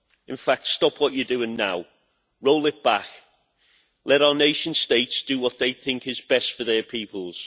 In fact, stop what you are doing now. Roll it back. Let our nation states do what they think is best for their peoples.